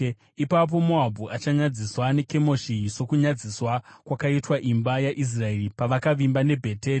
Ipapo Moabhu achanyadziswa neKemoshi, sokunyadziswa kwakaitwa imba yaIsraeri pavakavimba neBheteri.